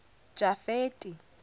jafeti